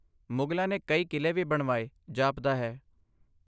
ਮੁਗਲਾਂ ਨੇ ਕਈ ਕਿਲੇ ਵੀ ਬਣਵਾਏ, ਜਾਪਦਾ ਹੈ।